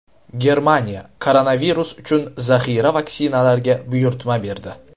Germaniya koronavirus uchun zaxira vaksinalarga buyurtma berdi.